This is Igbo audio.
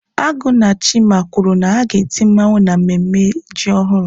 Agu na chima kwuru na a ga-eti mmawụ n'ememme ji ọhụrụ.